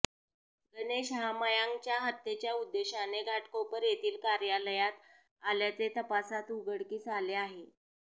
गणेश हा मयांकच्या हत्येच्या उद्देशाने घाटकोपर येथील कार्यालयात आल्याचे तपासात उघडकीस आले आहे